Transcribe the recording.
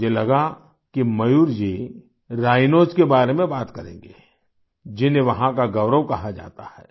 मुझे लगा कि मयूर जी राइनोस के बारे में बात करेंगे जिन्हें वहाँ का गौरव कहा जाता है